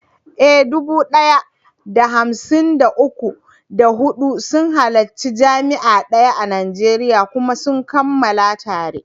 Eh, dubu ɗaya da hamsin da uku, da huɗu sun halarci jami’a daya a Najeriya kuma suka kammala tare.